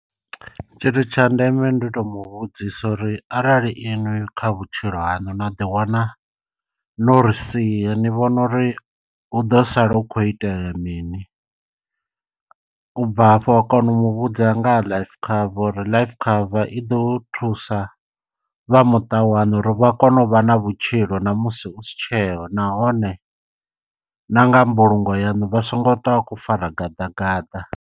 Tshithu tsha ndeme ndi u to mu vhudzisa uri arali iṅwi kha vhutshilo haṋu na ḓiwana no ri sia ni vhona uri hu ḓo sala hu khou itea mini. U bva hafho wa kona u muvhudza nga life cover uri life cover i ḓo thusa vha muṱa waṋu uri vha kone u vha na vhutshilo na musi u si tsheho nahone na nga mbulungo yanu vha so ngo twa vha khou fara gaḓa gaḓa.